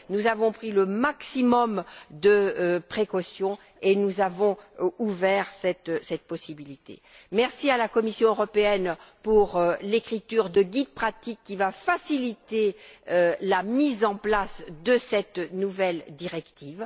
Nous avons pris le maximum de précautions et nous avons ouvert cette possibilité. Merci à la Commission européenne pour la rédaction de guides pratiques qui va faciliter la mise en place de cette nouvelle directive.